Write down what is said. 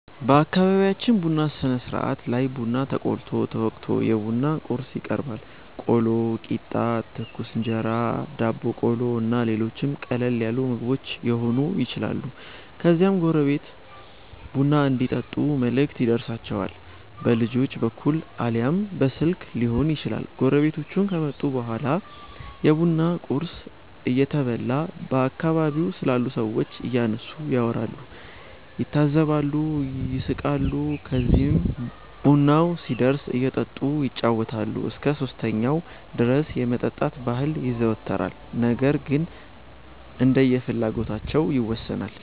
በአከቢቢያችን ቡና ስነስርአት ላይ ቡና ተቆልቶ፣ ተወቅቶ፣ የቡና ቁርስ ይቀርባል(ቆሎ፣ ቂጣ፣ ትኩስ እንጀራ፣ ዳቦ ቆሎ እና ሌሎችም ቀለል ያሉ ምግቦች የሆኑ ይችላሉ) ከዚያም ጎረቤት ቡና እንዲጠጡ መልእክት ይደርሣቸዋል። በልጆች በኩል አልያም በስልክ ሊሆን ይችላል። ጎረቤቶቹ ከመጡ በኋላ የቡና ቁርስ እየተበላ በአከባቢው ስላሉ ሠዎች እያነሱ ያወራሉ፣ ይታዘባሉ፣ ይስቃሉ። ከዚህም ቡናው ሲደርስ እየጠጡ ይጫወታሉ። እስከ 3ኛው ድረስ የመጠጣት ባህል ይዘወተራል ነገር ግን እንደየፍላጎታቸው ይወሠናል።